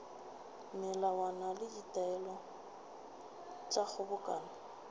melawana le ditaelo tša kgobokano